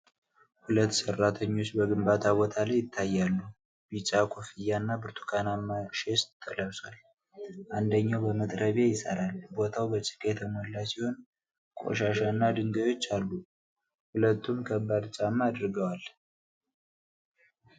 ሁለት ሰራተኞች በግንባታ ቦታ ላይ ይታያሉ። ቢጫ ኮፍያና ብርቱካናማ ቬስት ለብሷል። አንደኛው በመጥረቢያ ይሰራል። ቦታው በጭቃ የተሞላ ሲሆን ቆሻሻና ድንጋዮች አሉ። ሁለቱም ከባድ ጫማ አድርገዋል።